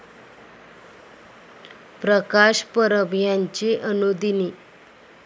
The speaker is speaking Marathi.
प्रकाश परब ह्यांची अनुदिनी.